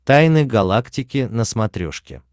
тайны галактики на смотрешке